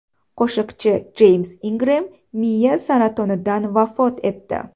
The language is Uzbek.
Qo‘shiqchi Jeyms Ingrem miya saratonidan vafot etdi.